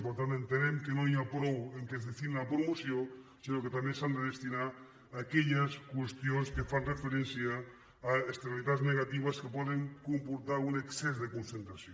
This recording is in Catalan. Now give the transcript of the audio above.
per tant entenem que no n’hi ha prou que es destinin a la promoció sinó que també s’han de destinar a aquelles qüestions que fan referència a externalitats negatives que poden comportar un excés de concentració